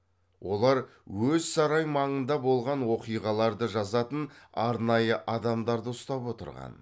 олар өз сарай маңында болған оқиғаларды жазатын арнайы адамдарды ұстап отырған